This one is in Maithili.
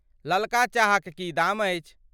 ललका चाहक की दाम अछि?